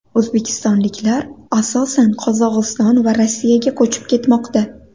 O‘zbekistonliklar asosan Qozog‘iston va Rossiyaga ko‘chib ketmoqda.